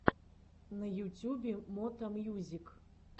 на ютюбе мото мьюзик